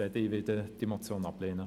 Ich werde diese Motion ablehnen.